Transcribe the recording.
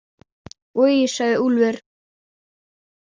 Oj, sagði Úlfur.